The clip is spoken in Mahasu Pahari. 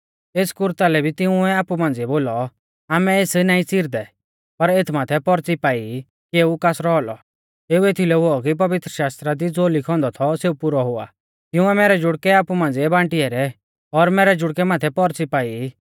एस कुरता लै तिंउऐ आपु मांझ़िऐ बोलौ आमै एस नाईं च़िरदै पर एथ माथै पौर्च़ी पाई की एऊ कासरौ औलौ एऊ एथीलै हुऔ कि पवित्रशास्त्रा दी ज़ो लिखौ औन्दौ थौ सेऊ पुरौ हुआ तिंउऐ मैरै जुड़कै आपु मांझ़िऐ बांटी ऐरै और मैरै जुड़कै माथै पौर्च़ी पाई